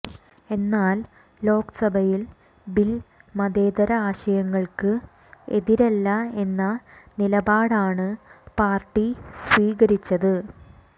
എന്നാൽ ലോക്സഭയിൽ ബിൽ മതേതര ആശയങ്ങൾക്ക് എതിരല്ല എന്ന നിലപാടാണ് പാർട്ടി സ്വീകരിച്ചത്